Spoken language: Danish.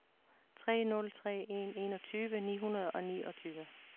tre nul tre en enogtyve ni hundrede og niogtyve